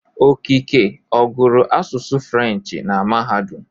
Okeke ọ gụrụ asụsụ Furenshị na mahadum?